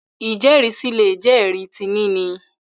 ijẹrisi lè jé ẹri tí níni